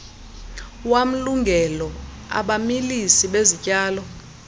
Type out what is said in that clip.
wamlungelo abamilisi bezityalo